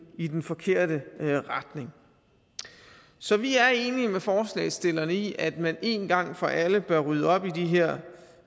i den forkerte retning så vi er enige med forslagsstillerne i at man en gang for alle bør rydde op i det her